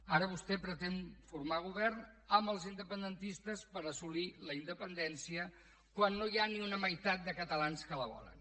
ara vostè pretén formar govern amb els independentistes per assolir la independència quan no hi ha ni una meitat de catalans que la volen